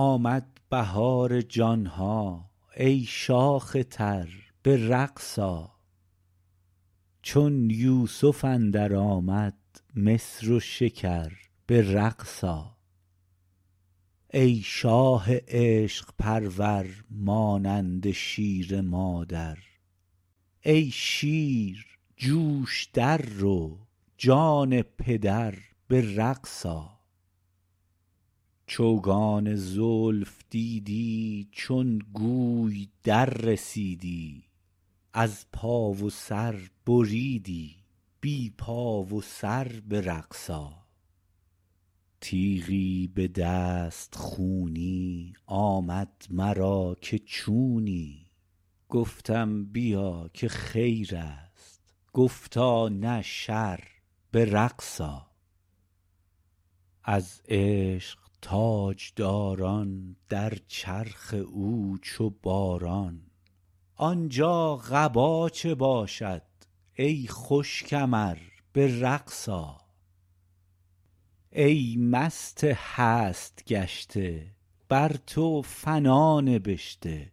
آمد بهار جان ها ای شاخ تر به رقص آ چون یوسف اندر آمد مصر و شکر به رقص آ ای شاه عشق پرور مانند شیر مادر ای شیر جو ش در رو جان پدر به رقص آ چوگان زلف دیدی چون گوی دررسیدی از پا و سر بریدی بی پا و سر به رقص آ تیغی به دست خونی آمد مرا که چونی گفتم بیا که خیر است گفتا نه شر به رقص آ از عشق تاج داران در چرخ او چو باران آن جا قبا چه باشد ای خوش کمر به رقص آ ای مست هست گشته بر تو فنا نبشته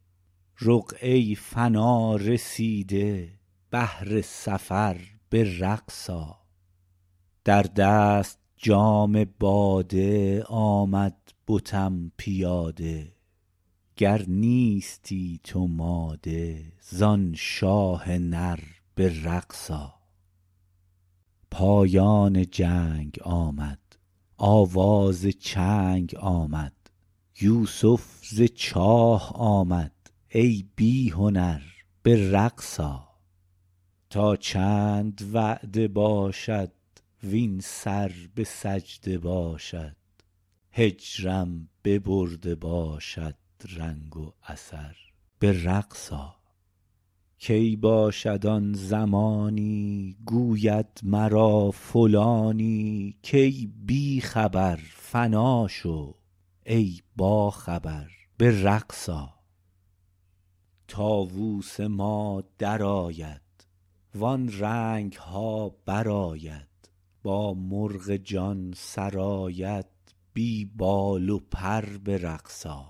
رقعه ی فنا رسیده بهر سفر به رقص آ در دست جام باده آمد بتم پیاده گر نیستی تو ماده ز آن شاه نر به رقص آ پایان جنگ آمد آواز چنگ آمد یوسف ز چاه آمد ای بی هنر به رقص آ تا چند وعده باشد وین سر به سجده باشد هجرم ببرده باشد دنگ و اثر به رقص آ کی باشد آن زمانی گوید مرا فلانی کای بی خبر فنا شو ای باخبر به رقص آ طاووس ما در آید وان رنگ ها برآید با مرغ جان سراید بی بال و پر به رقص آ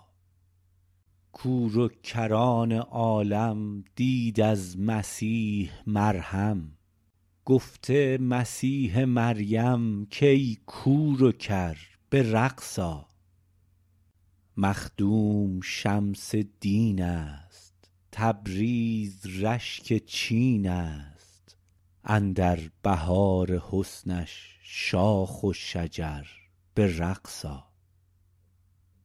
کور و کران عالم دید از مسیح مرهم گفته مسیح مریم کای کور و کر به رقص آ مخدوم شمس دین است تبریز رشک چین ا ست اندر بهار حسنش شاخ و شجر به رقص آ